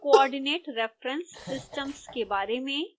coordinate reference systems के बारे में